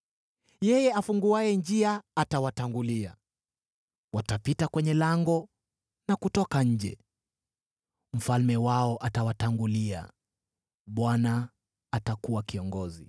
Yeye afunguaye njia atawatangulia; watapita kwenye lango na kutoka nje. Mfalme wao atawatangulia, Bwana atakuwa kiongozi.”